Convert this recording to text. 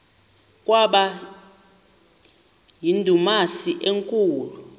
kwaba yindumasi enkulu